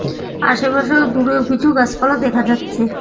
আশেপাশেও দূরেও কিছু গাসপালা দেখা যাচ্ছে।